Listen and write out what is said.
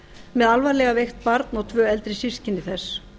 með alvarlega veikt barn og tvö eldri systkini þess